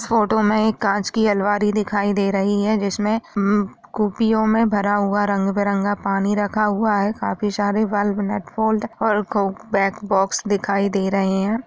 इस फोटो में एक कांच की अलमारी दिखाई दे रही है जिसमें उम कुपियो में भरा हुआ रंग बिरंगा पानी रखा हुआ है। काफी सारे बल्ब नट बोल्ट और कोक बैक बॉक्स दिखाई दे रहे हैं।